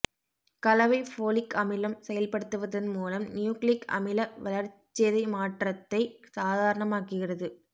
கலவை ஃபோலிக் அமிலம் செயல்படுத்துவதன் மூலம் நியூக்ளிக் அமில வளர்சிதைமாற்றத்தை சாதாரணமாக்குகிறது